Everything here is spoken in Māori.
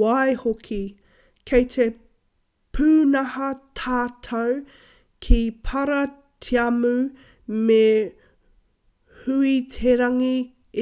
waihoki kei te pūnaha tatau ki paratiamu me huiterangi